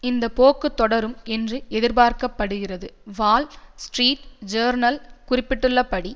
இந்த போக்கு தொடரும் என்று எதிர்பார்க்க படுகிறது வால் ஸ்ட்ரீட் ஜேர்னல் குறிப்பிட்டுள்ளபடி